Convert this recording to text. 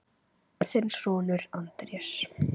Þinn sonur, Andrés.